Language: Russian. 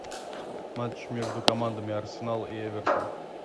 матч между командами арсенал и эвертон